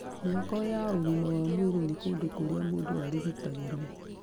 Mĩako ya ũgima wa mwĩrĩ nĩ kũndũ kũrĩa mũndũ arigitagĩro